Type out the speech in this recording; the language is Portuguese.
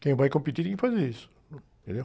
Quem vai competir tem que fazer isso, entendeu?